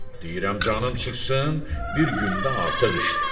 Deyirəm canın çıxsın, bir gün də artıq işlə.